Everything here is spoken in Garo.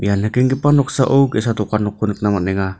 ia nikenggipa noksao ge·sa dokan nokko nikna man·enga.